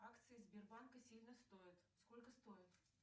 акции сбербанка сильно стоят сколько стоят